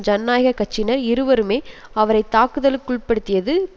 ஜனநாயக கட்சியினர் இருவருமே அவரை தாக்கதலுக்குட்படுத்தியது